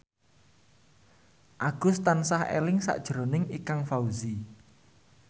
Agus tansah eling sakjroning Ikang Fawzi